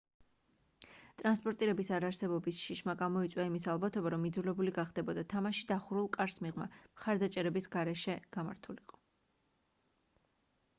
ტრანსპორტირების არარსებობის შიშმა გამოიწვია იმის ალბათობა რომ იძულებული გახდებოდა თამაში დახურულ კარს მიღმა მხარდამჭერების გარეშე გამართულიყო